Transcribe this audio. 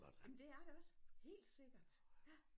Jamen det er det også helt sikkert ja